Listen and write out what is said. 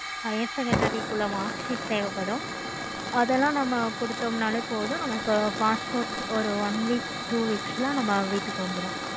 higher secondary குள்ள mark sheet தேவைப்படும். அதெல்லாம் நம்ம கொடுத்தோம்னாலே போதும். நமக்கு passport ஒரு one week two weeks ல நம்ம வீட்டுக்கு வந்துரும்.